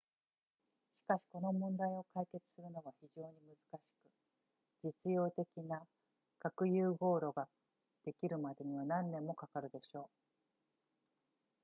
しかしこの問題を解決するのは非常に難しく実用的な核融合炉ができるまでには何年もかかるでしょう